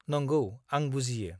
नंगौ, आं बुजियो।